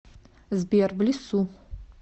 сбер в лесу